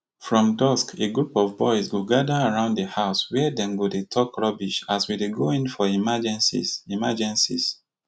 from dusk a group of boys go gather around di house wia dem go dey tok rubbish as we dey go in for emergencies emergencies